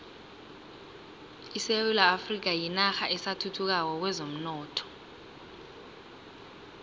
isewula afrika yinarha esathuthukako kwezomnotho